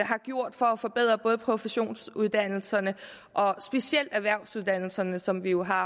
gjort for at forbedre både professionsuddannelserne og specielt erhvervsuddannelserne som vi jo har